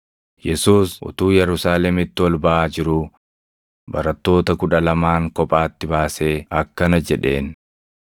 Yesuus utuu Yerusaalemitti ol baʼaa jiruu barattoota kudha lamaan kophaatti baasee akkana jedheen: